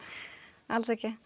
alls ekki